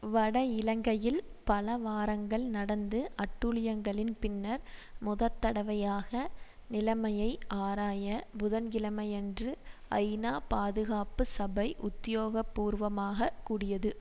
வட இலங்கையில் பல வாரங்கள் நடந்து அட்டூழியங்களின் பின்னர் முதற் தடவையாக நிலைமையை ஆராய புதன் கிழமையன்று ஐநா பாதுகாப்பு சபை உத்தியோகபூர்வமாகக் கூடியது